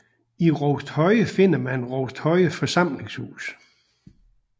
I Rousthøje finder man Rousthøje Forsamlingshus